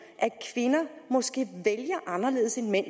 kvinder måske vælger anderledes end mænd